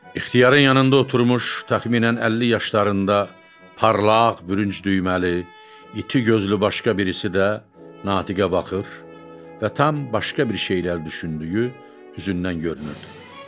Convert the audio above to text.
İxtiyarın yanında oturmuş təxminən 50 yaşlarında parlaq, bürünç düyməli, iti gözlü başqa birisi də natiqə baxır və tam başqa bir şeyləri düşündüyü hüzündən görünürdü.